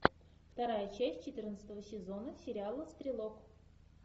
вторая часть четырнадцатого сезона сериала стрелок